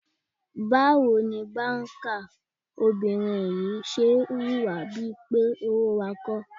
Báwo ni báńkà obìnrin yìí ṣe ń hùwà bí i pé owó wa kọ́?